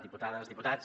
diputades i diputats